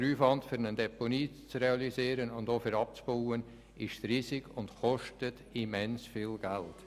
Der Aufwand, eine Deponie zu realisieren und auch wieder abzubauen, ist riesig und kostet immens viel Geld.